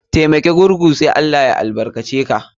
Taimaki gurgu sai ALLAH ya albarka ce ka.